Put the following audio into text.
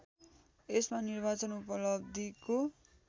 यसमा निर्वाचन उपलब्धिको